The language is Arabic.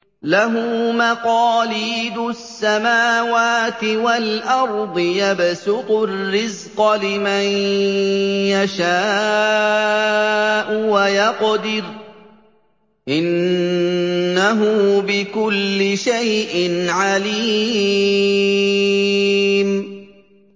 لَهُ مَقَالِيدُ السَّمَاوَاتِ وَالْأَرْضِ ۖ يَبْسُطُ الرِّزْقَ لِمَن يَشَاءُ وَيَقْدِرُ ۚ إِنَّهُ بِكُلِّ شَيْءٍ عَلِيمٌ